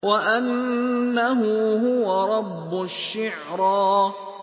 وَأَنَّهُ هُوَ رَبُّ الشِّعْرَىٰ